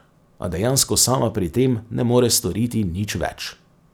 A dejansko sama pri tem ne more storiti nič več.